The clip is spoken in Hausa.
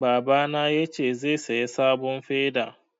Babana ya ce zai saya sabon feda